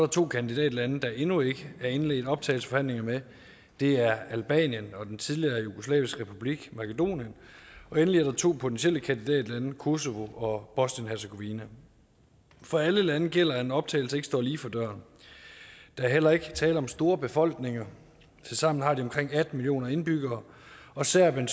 to kandidatlande der endnu ikke er indledt optagelsesforhandlinger med det er albanien og den tidligere jugoslaviske republik makedonien endelig er der to potentielle kandidatlande kosovo og bosnien hercegovina for alle landene gælder det at en optagelse ikke står lige for døren der er heller ikke tale om store befolkninger tilsammen har de omkring atten millioner indbyggere og serbien